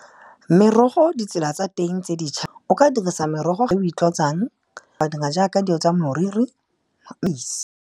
Merogo ditsela tsa teng tse dintšha, o ka dirisa merogo e o itlotsang, wa dira jaaka dilo tsa moriri, .